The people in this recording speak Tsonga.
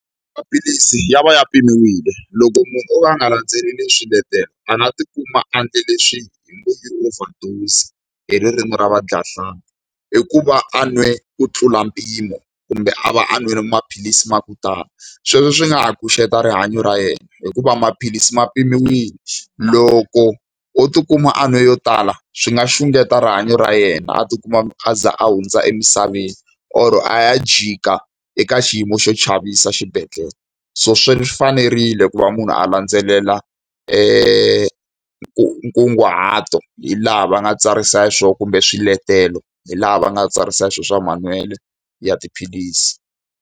Maphilisi ya va ya pimiwile. Loko munhu o ka a nga landzeleli swiletelo a tikuma a endle leswi hi ngo i overdose-i hi ririmi ra vadyahlampfi, hi ku va a nwe ku tlula mpimo kumbe a va a nwile maphilisi ma ku tala. Sweswo swi nga ha xungeta rihanyo ra yena, hikuva maphilisi ma pimiwile. Loko o tikuma a nwe yo tala, swi nga xungeta rihanyo ra yena a tikuma a za a hundza emisaveni or a ya jika eka xiyimo xo chavisa xibedhlele. So swi fanerile ku va munhu a landzelela nkunguhato hi laha va nga tsarisa xiswona kumbe swiletelo hi laha va nga tsarisa swona swa manwelo ya tiphilisi.